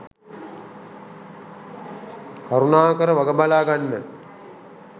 කරුණාකර වග බලා ගන්න.